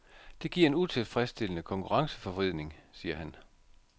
Det giver en utilfredsstillende konkurrenceforvridning, siger han.